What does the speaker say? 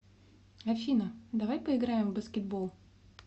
афина давай поиграем в баскетбол